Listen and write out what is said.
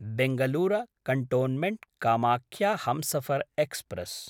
Bangalore कैन्टोन्मेन्ट्–कामाख्या Humsafar express